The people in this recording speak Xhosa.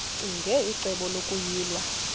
ccinge icebo lokuyilwa